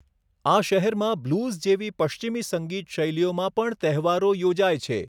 આ શહેરમાં બ્લૂઝ જેવી પશ્ચિમી સંગીત શૈલીઓમાં પણ તહેવારો યોજાય છે.